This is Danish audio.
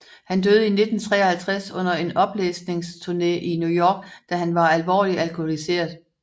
Han døde i 1953 under en oplæsningsturné i New York da han var alvorligt alkoholiseret